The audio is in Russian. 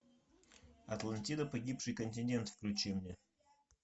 атлантида погибший континент включи мне